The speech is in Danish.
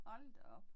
Hold da op